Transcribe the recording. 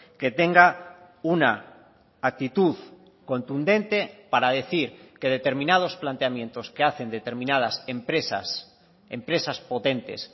que tenga una actitud contundente para decir que determinados planteamientos que hacen determinadas empresas empresas potentes